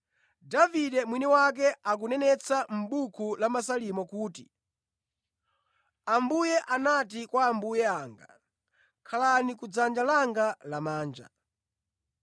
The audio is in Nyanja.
Davide mwini wake akunenetsa mʼbuku la Masalimo kuti, “Ambuye anati kwa Ambuye anga: ‘Khalani ku dzanja langa lamanja,